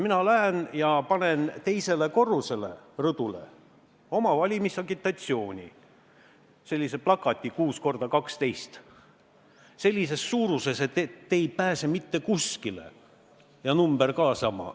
Mina lähen ja panen teise korruse rõdule oma valimisagitatsiooni, sellise 6 × 12 m plakati, nii suure, et te ei pääse selle eest mitte kuskile.